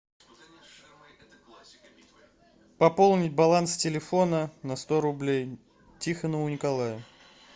пополнить баланс телефона на сто рублей тихонову николаю